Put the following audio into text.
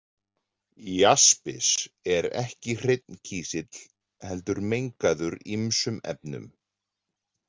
Jaspis er ekki hreinn kísill heldur mengaður ýmsum efnum.